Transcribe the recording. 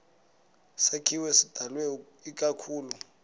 sakhiwo sidalwe ikakhulu